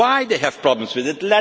Why do they have problems with it?